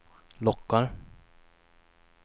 lockar